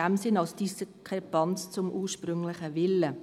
dies als Diskrepanz zum ursprünglichen Willen.